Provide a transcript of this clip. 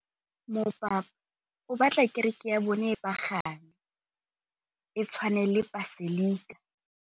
Mopapa o batla kereke ya bone e pagame, e tshwane le paselika.